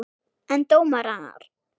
En dómarar?